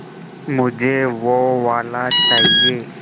मुझे वो वाला चाहिए